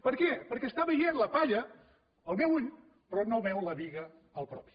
per què perquè està veient la palla el meu ull però no veu la biga al propi